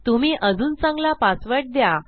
तुम्ही अजून चांगला पासवर्ड द्या